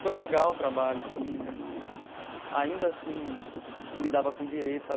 Foi legal o trabalho assim né, mas ainda assim lidava com direito sabe.